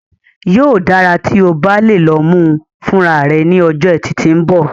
Yóò dára tí o bá lè lọ mú u fúnra rẹ ní ọjọ́ Etì tí ń bọ̀